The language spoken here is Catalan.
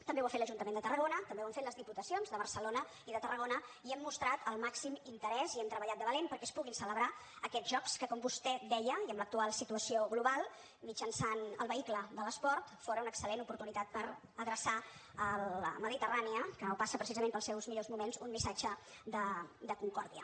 també ho ha fet l’ajuntament de tarragona també ho han fet les diputacions de barcelona i de tarragona i hem mostrat el màxim interès i hem treballat de valent perquè es puguin celebrar aquests jocs que com vostè deia i amb l’actual situació global mitjançant el vehicle de l’esport fóra una excel·lent oportunitat per adreçar a la mediterrània que no passa precisament pels seus millors moments un missatge de concòrdia